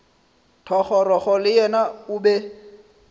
thogorogo le yena o be